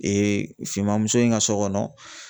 finmanmuso in ka so kɔnɔ